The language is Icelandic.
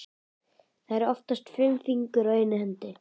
Það eru oftast fimm fingur á einni hendi.